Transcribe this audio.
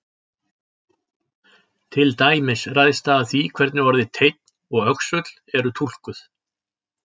Til dæmis ræðst það af því hvernig orðin teinn og öxull eru túlkuð.